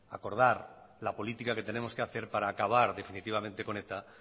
acordar la política que tenemos que hacer para acabar definitivamente con eta